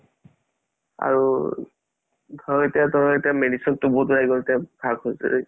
আৰু ধৰ এতিয়া ধৰ এতিয়া medicine তো বহুত উলাই গ'ল